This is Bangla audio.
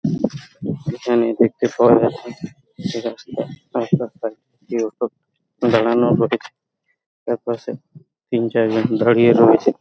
এখানে দেখতে পাওয়া যাচ্ছে যে রাস্তা রাস্তার সাইড দিয়েও দাঁড়ানো যায় তার পাশে তিন চারজন দাঁড়িয়ে রয়েছে।